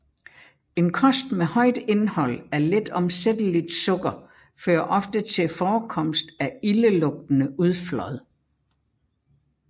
En kost med højt indhold af letomsætteligt sukker fører ofte til forekomst af ildelugtende udflåd